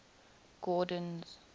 gordon's